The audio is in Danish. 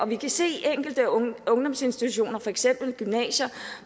vi kan se enkelte ungdomsinstitutioner for eksempel gymnasier